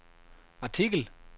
artikel